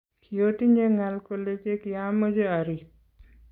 kiotinye ng'al kole chekiameche ariib